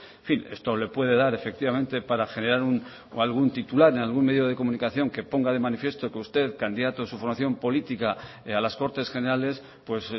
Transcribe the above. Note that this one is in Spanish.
en fin esto le puede dar efectivamente para generar algún titular en algún medio de comunicación que ponga de manifiesto que usted candidato de su formación política a las cortes generales pues